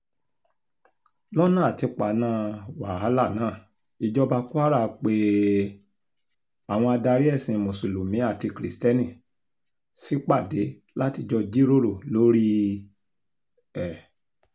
lọ́nà àti paná wàhálà náà ìjọba kwara pé um àwọn adarí ẹ̀sìn mùsùlùmí àti kristẹni ṣípàdé láti jọ jíròrò lórí um ẹ̀